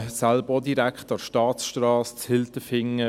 Ich wohne selber auch direkt an der Staatsstrasse in Hilterfingen.